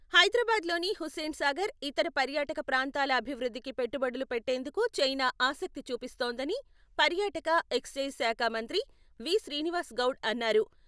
హైదరాబాద్లోని హుస్సేన్ సాగర్, ఇతర పర్యాటక ప్రాంతాల అభివృద్ధికి పెట్టుబడులు పెట్టేందుకు చైనా ఆసక్తి చూపిస్తోందని పర్యాటక, ఎక్సైజ్ శాఖ మంత్రి వి.శ్రీనివాస్ గౌడ్ అన్నారు.